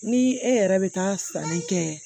Ni e yɛrɛ bɛ taa sanni kɛ